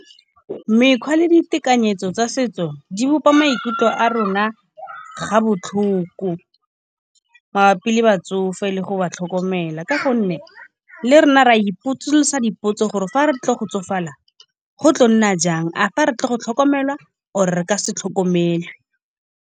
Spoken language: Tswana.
Mekgwa le ditekanyetso tsa setso di bopa maikutlo a rona ga botlhoko, mabapi le batsofe le go ba tlhokomela. Ka gonne le rona re a ipotsolosa dipotso gore, fa re tlo go tsofala go tla nna jang, a re tlo go tlhokomelwa or re ka se tlhokomelwe.